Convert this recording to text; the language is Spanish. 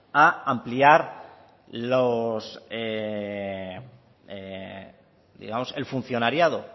a ampliar digamos el funcionariado